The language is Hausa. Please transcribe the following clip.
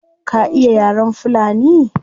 Ka iya yaren fulani?